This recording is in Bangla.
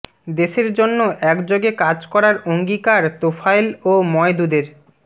দেশের জন্য একযোগে কাজ করার অঙ্গীকার তোফায়েল ও মওদুদের